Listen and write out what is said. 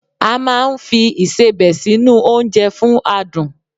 A máà ń fi Ìṣebẹ̀ sí nu oúnjẹ fún adùn